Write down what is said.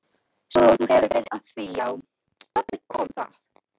Svo þú hefur verið að því já, þarna kom það.